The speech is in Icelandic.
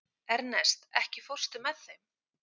Ernest, ekki fórstu með þeim?